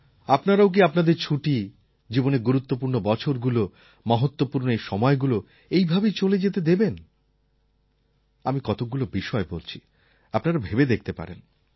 আপনারাও কি আপনাদের ছুটি জীবনের গুরুত্বপূর্ণ বছরগুলো মহত্বপূর্ণ এই সময়গুলো এইভাবেই চলে যেতে দেবেন আমি কতকগুলো বিষয় বলছি আপনারা ভেবে দেখতে পারেন